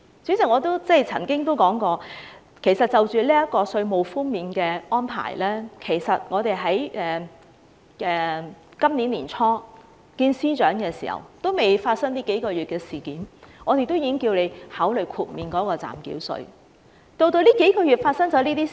主席，我曾經說過，關於今次稅務寬免的安排，其實今年年初仍未發生這數個月的事件時，我們曾與司長會面，當時我們已經請司長考慮豁免暫繳稅。